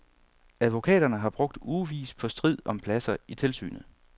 Advokaterne har brugt ugevis på strid om pladser i tilsynet.